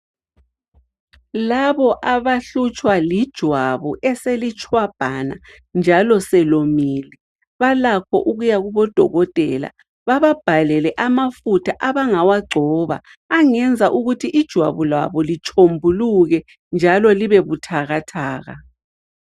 Labo abahlutshwa lijwabu eselitshwabhana njalo selomile, balakho ukuya kubodokotela. Bababhalele amafutha abangawagcoba angenza ukuthi ijwabu labo litshombuluke njalo libe buthakathaka